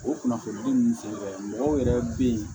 O kunnafoni di ninnu senfɛ mɔgɔw yɛrɛ bɛ ye